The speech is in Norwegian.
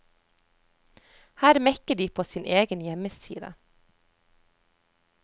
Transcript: Her mekker de på sin egen hjemmeside.